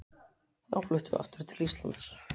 Þá fluttum við aftur til Íslands.